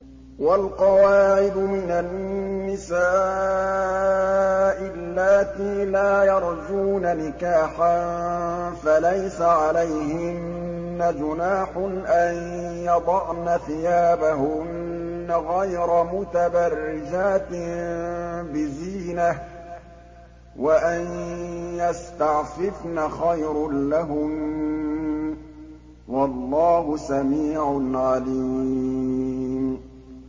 وَالْقَوَاعِدُ مِنَ النِّسَاءِ اللَّاتِي لَا يَرْجُونَ نِكَاحًا فَلَيْسَ عَلَيْهِنَّ جُنَاحٌ أَن يَضَعْنَ ثِيَابَهُنَّ غَيْرَ مُتَبَرِّجَاتٍ بِزِينَةٍ ۖ وَأَن يَسْتَعْفِفْنَ خَيْرٌ لَّهُنَّ ۗ وَاللَّهُ سَمِيعٌ عَلِيمٌ